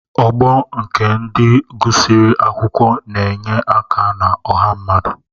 Ọgbọ nke ndị gụsịrị akwụkwọ na-enye aka na ọha mmadụ.